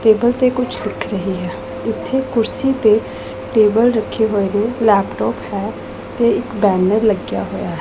Table ਤੇ ਕੁਝ ਲਿਖ ਰਹੀ ਹੈ ਇੱਥੇ ਕੁਰਸੀ ਤੇ ਟੇਬਲ ਰੱਖੇ ਹੋਏ ਨੇ ਲੈਪਟੋਪ ਹੈ ਤੇ ਇੱਕ ਬੈਨਰ ਲੱਗਿਆ ਹੋਇਆ ਹੈ।